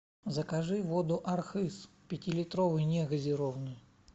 закажи воду архыз пятилитровую негазированную